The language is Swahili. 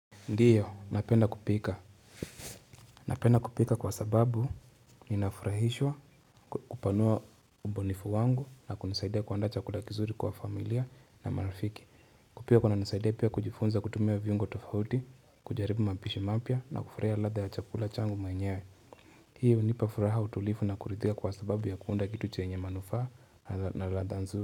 Ndiyo, napenda kupika. Napenda kupika kwa sababu ninafurahishwa kupanua ubunifu wangu na kunisaidia kuanda chakula kizuri kwa familia na marfiki. Kupika pia kunanisaidia pia kujifunza kutumia viungo tofauti, kujaribu mapishi mapya na kufurahia ladha ya chakula changu mwenyewe. Hiyo hunipafuraha utulivu na kuridhika kwa sababu ya kuunda kitu chenye manufaa na ladha nzuri.